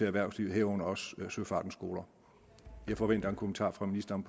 erhvervslivet herunder også søfartens skoler jeg forventer en kommentar fra ministeren